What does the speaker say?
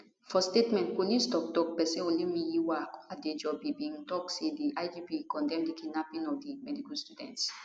for statement police toktok pesin olumiyiwa adejobi bin tok say di igp condemn di kidnapping of di medical students